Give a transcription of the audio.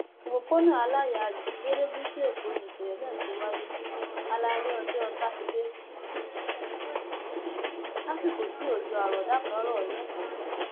òpópónà aláyàyí lerékùṣù èkó ni ìṣẹlẹ náà ti wáyé alaalẹ ọjọ sátidé lásìkò tí òjò àrọọdá kan ń rọ lẹkọọ